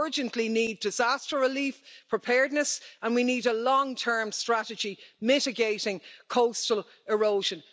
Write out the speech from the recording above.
We urgently need disaster relief preparedness and we need a long term strategy, mitigating coastal erosion.